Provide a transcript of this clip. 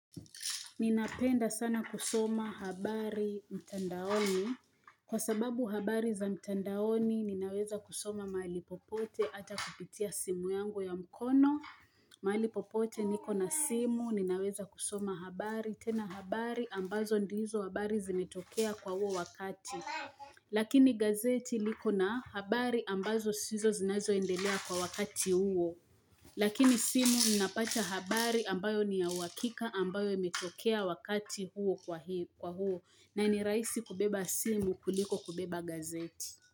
Ninapenda sana kusoma habari mtandaoni. Kwa sababu habari za mtandaoni, ninaweza kusoma mahali popote ata kupitia simu yangu ya mkono. Mahali popote niko na simu, ninaweza kusoma habari. Tena habari, ambazo ndizo habari zimetokea kwa huo wakati. Lakini gazeti liko na habari ambazo sizo zinazoendelea kwa wakati huo. Lakini simu ninapata habari ambayo ni ya uhakika ambayo imetokea wakati huo kwa huo na ni rahisi kubeba simu kuliko kubeba gazeti.